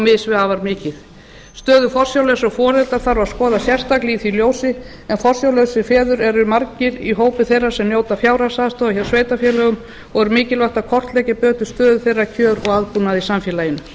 mis við afar mikið stöðu forsjárlausra foreldra þarf að skoða sérstaklega í því ljósi en forsjárlausir feður eru margir í hópi þeirra sem njóta fjárhagsaðstoðar hjá sveitarfélögum og er mikilvægt að kortleggja betur stöðu þeirra kjör og aðbúnað í samfélaginu